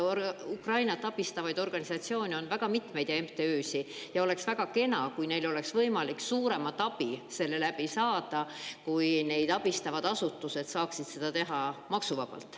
Ukrainat abistavaid organisatsioone ja MTÜ-sid on mitmeid ja oleks väga kena, kui oleks võimalik suuremat abi saada selle kaudu, et neid abistavad asutused saaksid seda teha maksuvabalt.